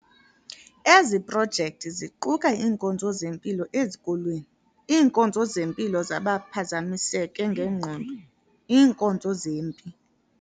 Ezi projekthi ziquka iinkonzo zempilo ezikolweni, iinkonzo zempilo zabaphazamiseke ngegqondo, iinkonzo zempi